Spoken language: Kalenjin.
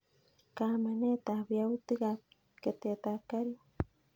Kaamanet ab yautik ab ketet ab karit